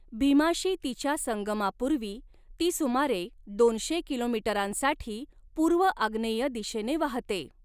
भीमाशी तिच्या संगमापूर्वी ती सुमारे दोनशे किलोमीटरांसाठी पूर्व आग्नेय दिशेने वाहते.